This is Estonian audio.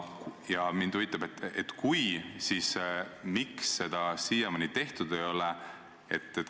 Ja kui te seda toetate, siis miks seda siiamaani tehtud ei ole?